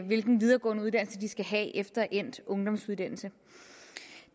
hvilken videregående uddannelse de skal have efter endt ungdomsuddannelse